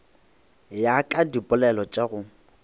ya ka dipoelo tša go